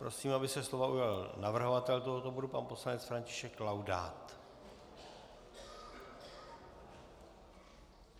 Prosím, aby se slova ujal navrhovatel tohoto bodu pan poslanec František Laudát.